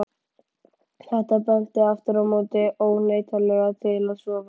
Þetta benti aftur á móti óneitanlega til að svo væri.